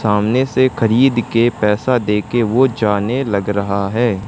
सामने से खरीद के पैसा दे के वो जाने लग रहा है।